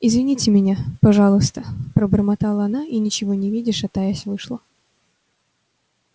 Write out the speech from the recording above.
извините меня пожалуйста пробормотала она и ничего не видя шатаясь вышла